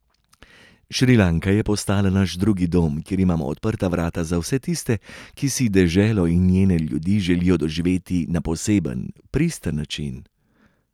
Šrilanka je postala naš drugi dom, kjer imamo odprta vrata za vse tiste, ki si deželo in njene ljudi želijo doživeti na poseben, pristen način.